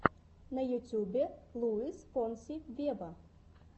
на ютубе луис фонси вево